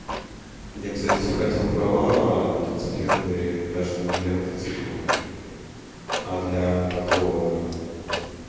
я кстати хотел права мотоциклетные даже для мотоцикла а для такого